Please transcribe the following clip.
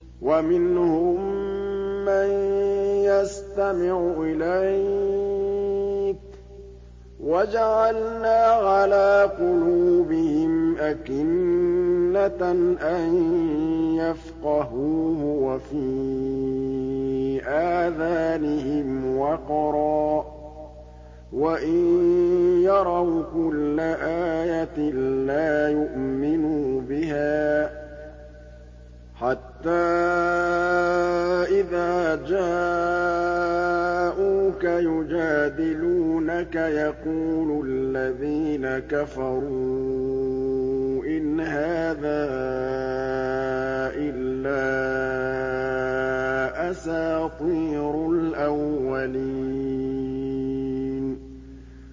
وَمِنْهُم مَّن يَسْتَمِعُ إِلَيْكَ ۖ وَجَعَلْنَا عَلَىٰ قُلُوبِهِمْ أَكِنَّةً أَن يَفْقَهُوهُ وَفِي آذَانِهِمْ وَقْرًا ۚ وَإِن يَرَوْا كُلَّ آيَةٍ لَّا يُؤْمِنُوا بِهَا ۚ حَتَّىٰ إِذَا جَاءُوكَ يُجَادِلُونَكَ يَقُولُ الَّذِينَ كَفَرُوا إِنْ هَٰذَا إِلَّا أَسَاطِيرُ الْأَوَّلِينَ